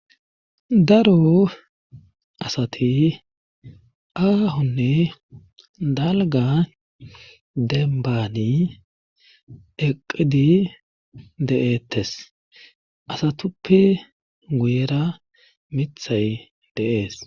Daro asati aahonne dalga dembani eqqidi de7eettes asatuppe guyera mithay deees.